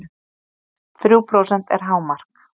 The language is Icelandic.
Þrjú prósent er hámark